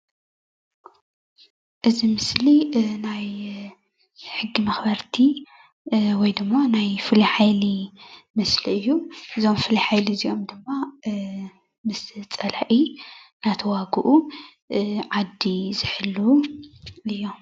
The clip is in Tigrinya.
እዚ ምስሊ ናይ ሕጊ መኽበርቲ ወይ ድማ ናይ ፍሉይ ሓይሊ ምስሊ እዩ፡፡ እዞም ፍሉይ ሓይሊ እዚኦም ድማ ምስ ፀላኢ እናተዋግኡ ዓዲ ዝሕልው እዮም፡፡